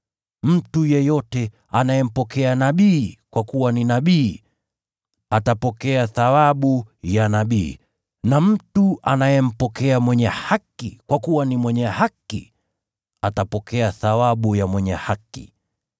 Mtu yeyote anayempokea nabii kwa kuwa ni nabii atapokea thawabu ya nabii, naye mtu anayempokea mwenye haki kwa kuwa ni mwenye haki atapokea thawabu ya mwenye haki.